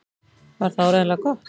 Var það áreiðanlega gott?